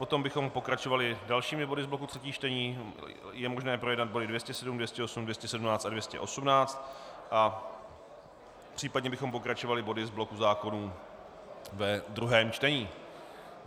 Potom bychom pokračovali dalšími body z bloku třetích čtení, je možné projednat body 207, 208, 217 a 218, a případně bychom pokračovali body z bloku zákonů ve druhém čtení.